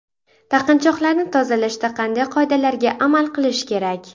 Taqinchoqlarni tozalashda qanday qoidalarga amal qilish kerak?